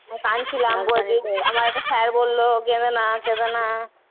আমি কাঁদছিলাম আমার একটা sir বললো কেঁদোনা কেঁদোনা।